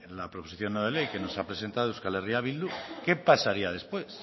la proposición no de ley que nos ha presentado euskal herria bildu qué pasaría después